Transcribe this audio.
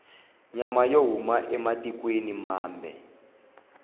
nyama yo huma ematikwena mambe